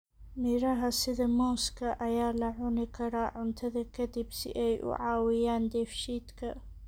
Miraha sida muuska ayaa la cuni karaa cuntada ka dib si ay u caawiyaan dheefshiidka.